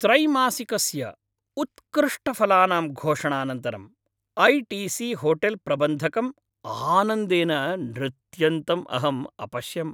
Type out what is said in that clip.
त्रैमासिकस्य उत्कृष्टफलानां घोषणानन्तरं I T C hotel प्रबन्धकं आनंदेन नृत्यन्तम् अहं अपश्यम्।